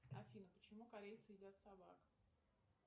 афина почему корейцы едят собак